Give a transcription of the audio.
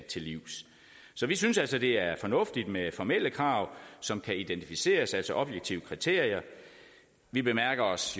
livs vi synes altså det er fornuftigt med formelle krav som kan identificeres altså objektive kriterier vi bemærker os